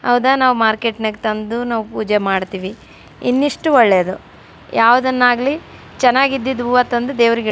ಹೌದ ನಾವು ಮಾರ್ಕೆಟ್ ನ್ಯಾಗ್ ತಂದು ನಾವು ಪೂಜೆ ಮಾಡ್ತೀವಿ. ಇನ್ನಷ್ಟು ಒಳ್ಳೆಯದು. ಯಾವದನ್ನ ಆಗ್ಲಿ ಚೆನ್ನಾಗಿದ್ದಿದ್ ಹೂವ ತಂದು ದೇವ್ರಿಗೆ --